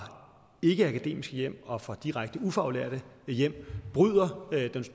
ikkeakademiske hjem og fra direkte ufaglærte hjem bryder den